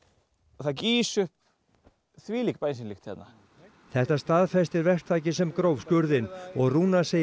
það gýs upp þvílík bensínlykt hérna þetta staðfestir verktakinn sem gróf skurðinn og Rúnar segir